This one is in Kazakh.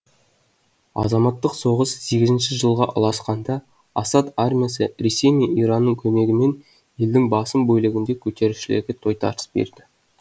азаматтық соғыс сегізінші жылға ұласқанда асад армиясы ресей мен иранның көмегімен елдің басым бөлігінде көтерілісшілерге тойтарыс берді